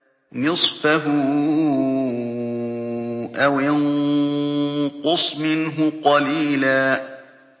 نِّصْفَهُ أَوِ انقُصْ مِنْهُ قَلِيلًا